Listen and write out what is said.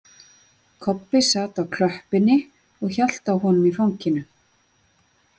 Kobbi sat á klöppinni og hélt á honum í fanginu.